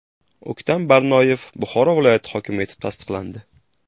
O‘ktam Barnoyev Buxoro viloyati hokimi etib tasdiqlandi .